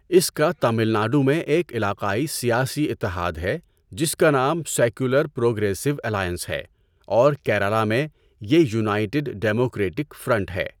اس کا تمل ناڈو میں ایک علاقائی سیاسی اتحاد ہے جس کا نام سیکولر پروگریسو الائنس ہے، اور کیرالہ میں، یہ یونائیٹڈ ڈیموکرٹک فرنٹ ہے۔